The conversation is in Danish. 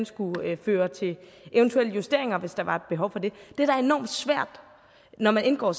skulle føre til eventuelle justeringer hvis der var et behov for det det er da enormt svært når man indgår